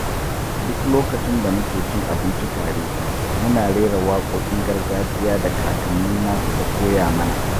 Duk lokacin da muke cin abinci tare, muna rera waƙoƙin gargajiya da kakannina suka koya mana.